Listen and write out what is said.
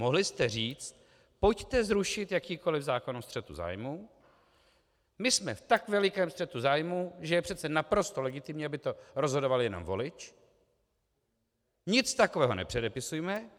Mohli jste říct: pojďte zrušit jakýkoliv zákon o střetu zájmů, my jsme v tak velikém střetu zájmů, že je přece naprosto legitimní, aby to rozhodoval jenom volič, nic takového nepředepisujme.